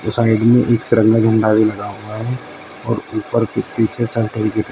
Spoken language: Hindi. और साइड में एक तिरंगा झंडा लहरा हुआ है और ऊपर के पीछे --